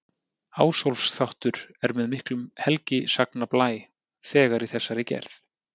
Ásólfs-þáttur er með miklum helgisagnablæ þegar í þessari gerð.